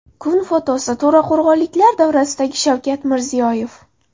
Kun fotosi: To‘raqo‘rg‘onliklar davrasidagi Shavkat Mirziyoyev.